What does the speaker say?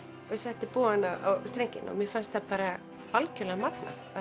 og ég setti bogann á strenginn og mér fannst bara algjörlega magnað að